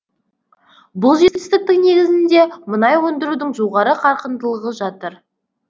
бұл жетістіктің негізінде мұнай өндірудің жоғары қарқындылығы жатыр